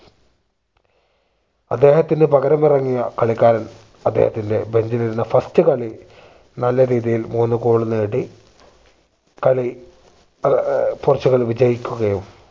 അദ്ദേഹത്തിന് പകരം ഇറങ്ങിയ കളിക്കാരൻ അദ്ദേഹത്തിന്റെ bench ഇൽ ഇരുന്ന first കളി നല്ല രീതിയിൽ മൂന്ന് goal നേടി കളി ഏർ പോർച്ചുഗൽ വിജയിക്കുകയും